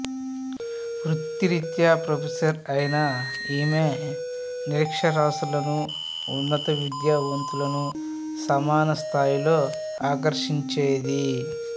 వృత్తిరీత్యా ప్రొఫెసర్ అయిన ఈమె నిరక్షరాస్యులను ఉన్నత విద్యావంతులను సమాన స్థాయిలో ఆకర్షించేది